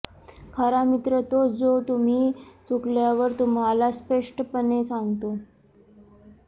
खरा मित्र तोच जो तुम्ही चुकल्यावर तुम्हाला स्पष्टपणे सांगतो